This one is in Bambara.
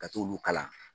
Ka t'olu kalan